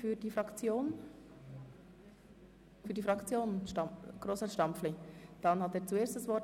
Für die SP-JUSO-PSA-Fraktion hat Grossrat Stampfli das Wort.